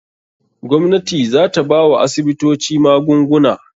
Gwamnati za ta bawa asibitoci magunguna.